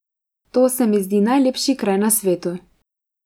To se mi zdi najlepši kraj na svetu.